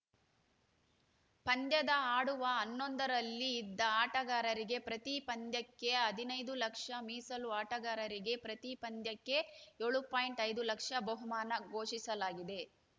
ಪಂದ್ಯದ ಆಡುವ ಹನ್ನೊಂದರಲ್ಲಿ ಇದ್ದ ಆಟಗಾರರಿಗೆ ಪ್ರತಿ ಪಂದ್ಯಕ್ಕೆ ಹದಿನೈದು ಲಕ್ಷ ಮೀಸಲು ಆಟಗಾರರಿಗೆ ಪ್ರತಿ ಪಂದ್ಯಕ್ಕೆ ಏಳು ಪಾಯಿಂಟ್ ಐದು ಲಕ್ಷ ಬಹುಮಾನ ಘೋಷಿಸಲಾಗಿದೆ